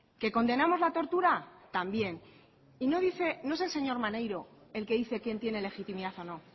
que condenamos la tortura también y no dice no es el señor maneiro el que dice quién tiene legitimidad o